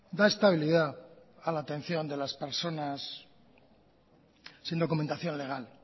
da estabilidad a la atención de las personas sin documentación legal